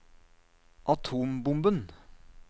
atombomben